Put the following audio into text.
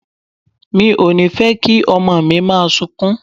Mi ò ní fẹ́ kí ọmọ mi máa sunkún.